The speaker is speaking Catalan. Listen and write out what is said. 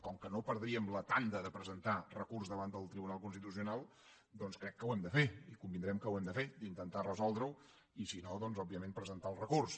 com que no perdríem la tanda de presentar recurs davant del tribunal constitucional doncs crec que ho hem de fer i convindrem que ho hem de fer d’intentar resoldre ho i si no òbviament presentar el recurs